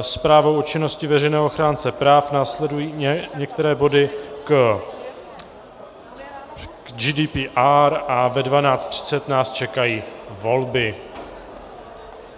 zprávou o činnosti veřejného ochránce práv, následují některé body k GDPR a ve 12.30 nás čekají volby.